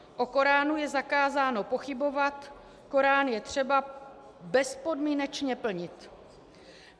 O Koránu je zakázáno pochybovat, Korán je třeba bezpodmínečně plnit.